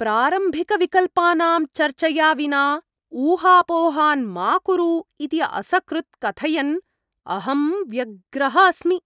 प्रारम्भिकविकल्पानां चर्चया विना ऊहापोहान् मा कुरु इति असकृत् कथयन् अहं व्यग्रः अस्मि,